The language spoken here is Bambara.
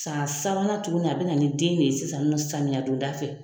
San sabanan tuguni a bɛ na ni den ye sisan nɔ samiyadonda fɛ.